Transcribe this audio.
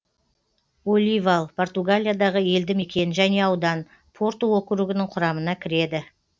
оливал португалиядағы елді мекен және аудан порту округінің құрамына кіреді